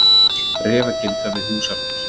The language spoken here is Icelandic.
Refagildra við Húsfell.